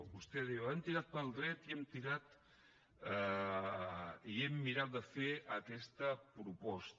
vostè diu hem tirat pel dret i hem mirat de fer aquesta proposta